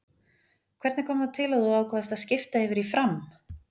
Hvernig kom það til að þú ákvaðst að skipta yfir í FRAM?